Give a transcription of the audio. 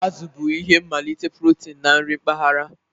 Azụ bụ isi mmalite protein na nri mpaghara.